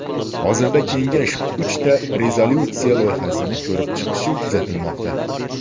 Hozirda Kengash uchta rezolyutsiya loyihasini ko‘rib chiqishi kutilmoqda.